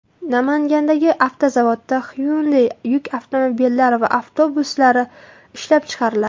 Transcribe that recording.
Namangandagi avtozavodda Hyundai yuk avtomobillari va avtobuslari ishlab chiqariladi.